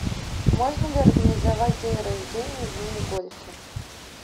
можно ли организовать день рождения в мини гольфе